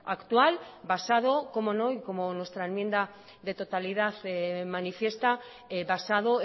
actual basado cómo no y como nuestra enmienda de totalidad manifiesta basado